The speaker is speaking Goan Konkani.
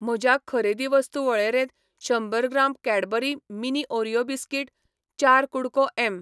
म्हज्या खरेदी वस्तू वळेरेंत शंबर gram Cadbury mini Oreo biscuit, चार कु़डको एम.